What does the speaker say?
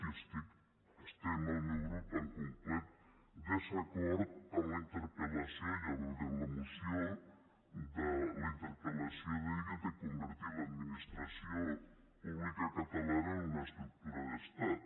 hi estem el meu grup en complet desacord amb la interpel·lació i ja veurem la moció la interpel·lació d’ahir de convertir l’administració pública catalana en una estructura d’estat